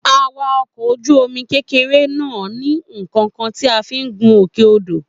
A wa ọkọ̀ ojú omi kékeré náà ní kọọkan tí a fi gún òkè odò